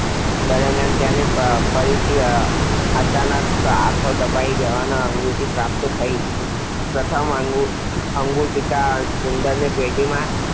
દરમ્યાન તેનાથી ફરીથી અચાનક હાથો દબાઈ જવાથી અન્નગુટિકા પ્રાપ્ત થઈ. પ્રથમ અન્નગુટિકા ઉંદરને પેટીમાં